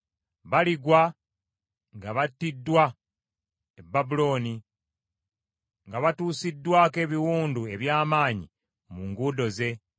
Baligwa nga battiddwa e Babulooni, nga batuusiddwako ebiwundu eby’amaanyi mu nguudo ze.